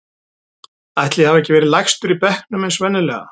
Ætli ég hafi ekki verið lægstur í bekknum eins og venjulega.